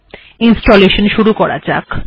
এবার ইনস্টলেশান শুরু করা যাক